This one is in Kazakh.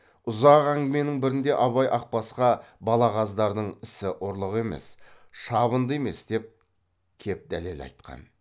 ұзақ әңгіменің бірінде абай ақбасқа балағаздардың ісі ұрлық емес шабынды емес деп кеп дәлел айтқан